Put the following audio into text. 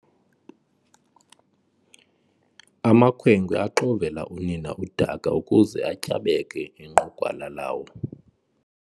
Amakhwenkwe axovela unina udaka ukuze atyabeke inqugwala lawo.